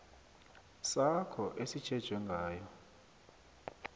sakho esitjhejwe ngayo